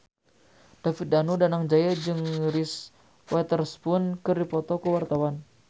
David Danu Danangjaya jeung Reese Witherspoon keur dipoto ku wartawan